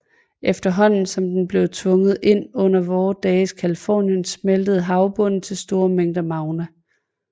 Efterhånden som den blev tvunget ind under vore dages Californien smeltede havbunden til store mængder magma